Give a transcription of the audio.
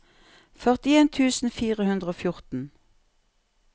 førtien tusen fire hundre og fjorten